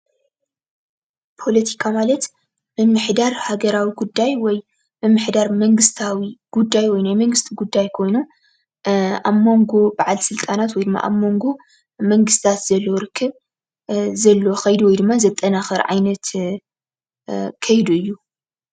ፖለቲካ ማለት ምምሕዳር ሃገራዊ ጉዳይ ወይ ምምሕዳር መንግስታዊ ጉዳይ ወይ ናይ መንግስቲ ጉዳይ ኮይኑ ኣብ መንጎ በዓል ስልጠናት ወይ ድማ ኣብ መንጎ መንግስትታት ዘሎ ርክብ ዘለዎ ከይዲ ወይ ድማ ዘጠናከረ ዓይነት ከይዲ እዩ፡፡